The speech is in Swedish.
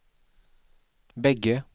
bägge